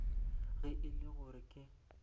ge e le gore ke